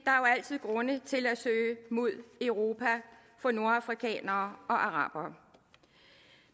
altid grunde til at søge mod europa for nordafrikanere og arabere